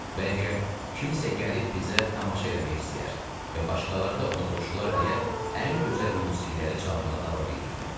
Bəlkə kimsə gəlib bizə tamaşa eləmək istəyər və başqaları da ona qoşular deyə ən gözəl musiqiləri çalmağa davam eləyirdim.